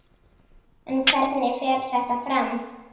En hvernig fer þetta fram?